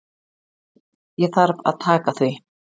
Ég þarf að taka því.